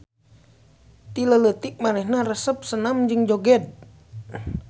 Ti leuleutik manehna resep senam jeung joged.